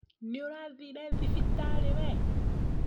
Nĩũrathire thibitare wee?